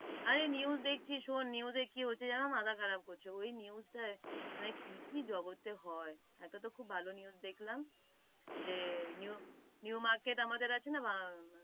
আরে news দেখছি শুন, news এ কি হচ্ছে যেন মাথা খারাপ করছে, মানে কি কি জগতে হয়, একটা তো খুব ভালো news দেখলাম, জে new market আমাদের আছে না,